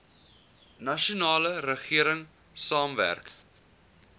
nasionale regering saamwerk